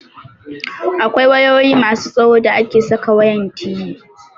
Akwai wayoyi masu tsawo da ake saka wayan TV.